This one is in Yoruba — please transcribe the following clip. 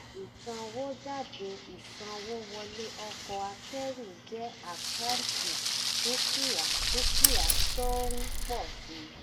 ìsanwójáde ìsanwówọlé ọkọ̀ akẹ́rù jẹ́ àkáǹtì dúkìá dúkìá tó ń pọ̀ si.